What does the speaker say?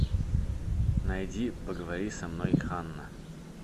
найди поговори со мной ханна